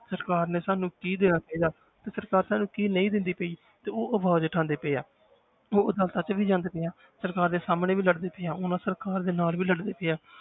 ਸਰਕਾਰ ਨੇ ਸਾਨੂੰ ਕੀ ਦੇਣਾ ਅੱਗੇ ਜਾ ਕੇ, ਤੇ ਸਰਕਾਰ ਸਾਨੂੰ ਕੀ ਨਹੀਂ ਦਿੰਦੀ ਪਈ ਤੇ ਉਹ ਆਵਾਜ਼ ਉਠਾਉਂਦੇ ਪਏ ਹੈ ਉਹ ਉਹਦਾ ਸੱਚ ਵੀ ਜਾਣਦੇ ਪਏ ਹੈ ਸਰਕਾਰ ਦੇ ਸਾਹਮਣੇ ਵੀ ਲੜਦੇ ਪਏ ਹੈ ਉਹਨਾਂ ਸਰਕਾਰ ਦੇ ਨਾਲ ਵੀ ਲੜਦੇ ਪਏ ਹੈ